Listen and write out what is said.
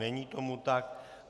Není tomu tak.